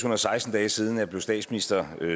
og seksten dage siden jeg blev statsminister